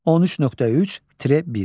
13.3.1.